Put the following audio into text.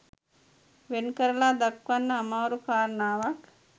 වෙන් කරලා දක්වන්න අමාරු කාරණාවක්